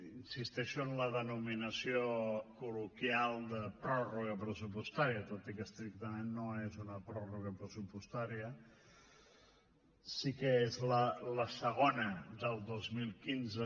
insisteixo en la denominació col·loquial de pròrroga pressupostària tot i que estrictament no és una pròrroga pressupostària sí que és la segona del dos mil quinze